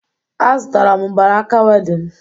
Azụtara m mgbanaka wedịn